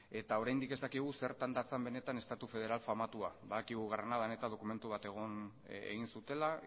eta oraindik ez dakigu zertan datzan estatu federal famatua badakigu granadan eta dokumentu bat egin zutela